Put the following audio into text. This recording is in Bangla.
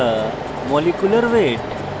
raw formula